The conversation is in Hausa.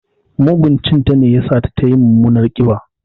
Mugun cin ta ne ya sa tayi mummunar ƙiba.